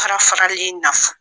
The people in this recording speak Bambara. Farafarali in nafa